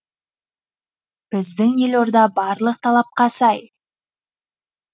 біздің елорда барлық талапқа сай